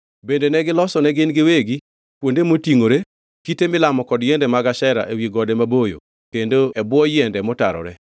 Bende negilosone gin giwegi kuonde motingʼore, kite milamo kod yiende mag Ashera ewi gode maboyo kendo e bwo yiende motarore.